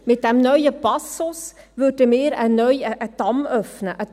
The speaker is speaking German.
Mit diesem neuen Passus würden wir einen Damm öffnen.